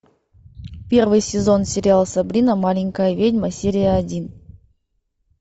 первый сезон сериал сабрина маленькая ведьма серия один